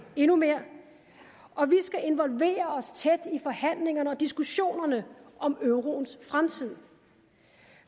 endnu mere og vi skal involvere os tæt i forhandlingerne og i diskussionerne om euroens fremtid